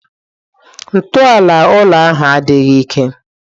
Ntọala ụlọ ahu adịghị ike.